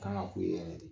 Kan ga k'u ye yɛrɛ de